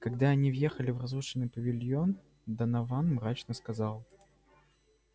когда они въехали в разрушенный павильон донован мрачно сказал